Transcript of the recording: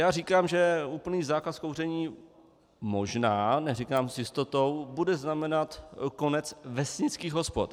Já říkám, že úplný zákaz kouření, možná, neříkám s jistotou, bude znamenat konec vesnických hospod.